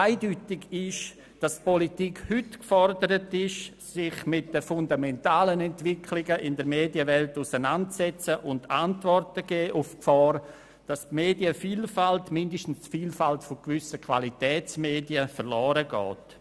Eindeutig ist die Politik heute aber gefordert, sich mit den fundamentalen Entwicklungen in der Medienwelt auseinanderzusetzen und Antworten zu geben auf die Gefahr, dass die Medienvielfalt – oder zumindest die Vielfalt gewisser Qualitätsmedien – verloren geht.